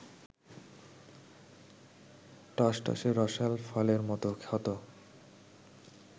টসটসে রসাল ফলের মতো ক্ষত